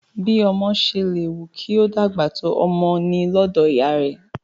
Bí ọmọ ṣe lè wù kí ó dàgbà tó, ọmọ ni lọ́dọ̀ ìyá rẹ̀